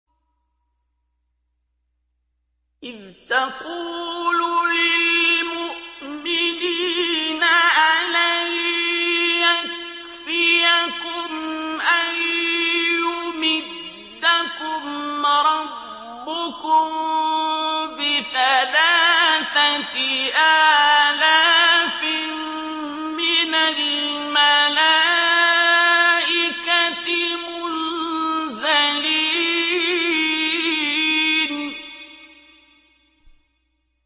إِذْ تَقُولُ لِلْمُؤْمِنِينَ أَلَن يَكْفِيَكُمْ أَن يُمِدَّكُمْ رَبُّكُم بِثَلَاثَةِ آلَافٍ مِّنَ الْمَلَائِكَةِ مُنزَلِينَ